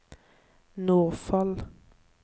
Nordfold